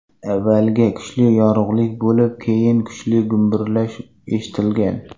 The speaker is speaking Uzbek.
Avvaliga kuchli yorug‘lik bo‘lib, keyin kuchli gumburlash eshitilgan.